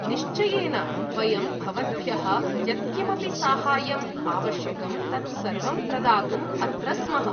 निश्चयेन, वयं भवद्भ्यः यत्किमपि साहाय्यं आवश्यकं तत् सर्वं प्रदातुं अत्र स्मः।